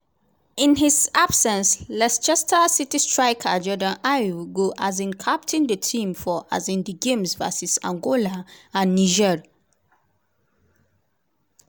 in his absence leicester city striker jordan ayew go um captain di team for um di games vs angola and niger.